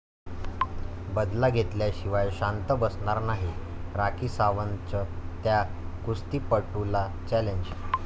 बदला घेतल्याशिवाय शांत बसणार नाही, राखी सावंतचं त्या कुस्तीपटूला चॅलेंज